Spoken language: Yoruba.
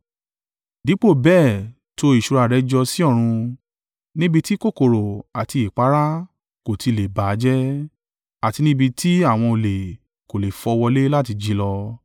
Dípò bẹ́ẹ̀ to ìṣúra rẹ jọ sí ọ̀run, níbi ti kòkòrò àti ìpáàrà kò ti lè bà á jẹ́, àti ní ibi tí àwọn olè kò le fọ́ wọlé láti jí í lọ.